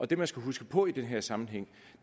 det man skal huske på i den her sammenhæng